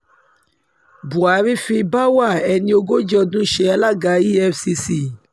buhari fi báwa ẹni ogójì ọdún ṣe alága efcc